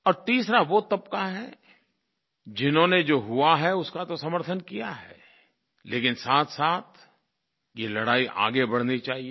और तीसरा वो तबक़ा है जिन्होंने जो हुआ है उसका तो समर्थन किया है लेकिन साथसाथ ये लड़ाई आगे बढ़नी चाहिये